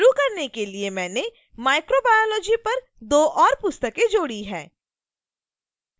शुरू करने के लिए मैंने microbiology पर 2 और पुस्तकें जोड़ी हैं